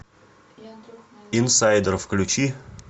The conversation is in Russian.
инсайдер включи